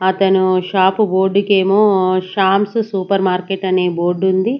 అతను షాపు బోడ్డుకేమో శ్యాంసు సూపర్ మార్కెట్ అనే బోర్డుండి .